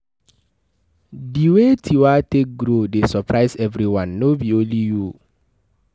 The way Tiwa take grow dey surprise everyone, no be only you.